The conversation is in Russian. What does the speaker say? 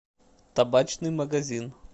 табачный магазин